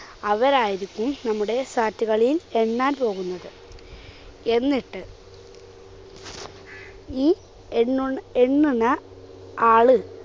അവരായിരിക്കും നമ്മുടെ sat കളിയിൽ എണ്ണാൻ പോകുന്നത്. എന്നിട്ട് ഈ എണ്ണുഎണ്ണുന്ന ആള്